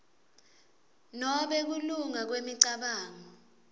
nobe kulunga kwemicabango